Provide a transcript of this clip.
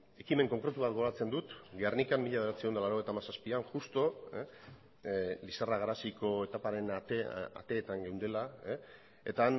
ekimen konkretubat gogoratzen dut gernikan mila bederatziehun eta laurogeita hamazazpian justu lizarra garaziko etaparen ateetan geundela eta